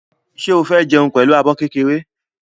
Ṣé o fẹ́ jẹun pẹ̀lú abọ́ kékeré?